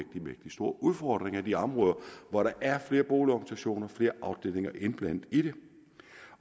mægtig store udfordringer i de områder hvor der er flere boligorganisationer og flere afdelinger indblandet i det